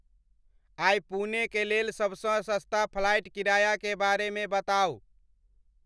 आइ पुणे के लेल सबसँ सस्ता फ्लाइट किराया के बारे में बताउ